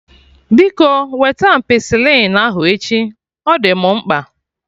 Biko wete ampicilin ahụ echi, ọ dị mụ mkpa